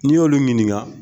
N y'olu ɲininka.